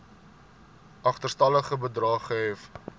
agterstallige bedrae gehef